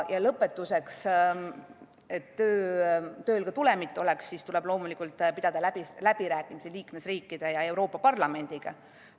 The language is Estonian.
Ja lõpetuseks, et tööl ka tulemit oleks, tuleb loomulikult pidada läbirääkimisi liikmesriikide ja Euroopa Parlamendiga.